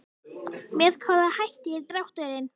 Með hvaða hætti er drátturinn?